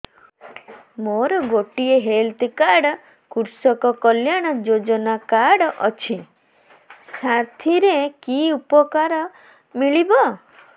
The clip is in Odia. ମୋର ଗୋଟିଏ ହେଲ୍ଥ କାର୍ଡ କୃଷକ କଲ୍ୟାଣ ଯୋଜନା କାର୍ଡ ଅଛି ସାଥିରେ କି ଉପକାର ମିଳିବ